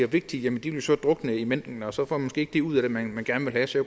vigtige jo så drukne i mængden og så får man ikke det ud af det man gerne vil have så